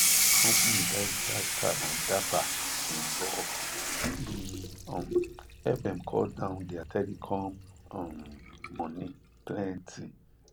company buy recharge card and data in bulk e um help dem cut down their telecom um money plenty